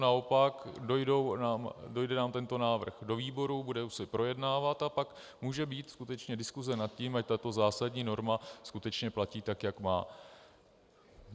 Naopak dojde nám tento návrh do výborů, bude se projednávat a pak může být skutečně diskuse nad tím, ať tato zásadní norma skutečně platí tak, jak má.